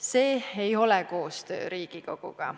See ei ole koostöö Riigikoguga.